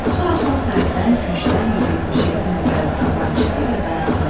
Sonra sol tərəfdən küncdən 177 nömrəli tramvay çıxdı və dayandı.